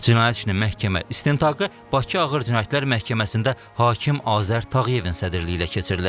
Cinayət işinin məhkəmə istintaqı Bakı Ağır Cinayətlər Məhkəməsində hakim Azər Tağıyevin sədrliyi ilə keçirilib.